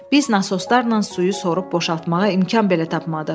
Biz nasoslarla suyu sorub boşaltmağa imkan belə tapmadıq.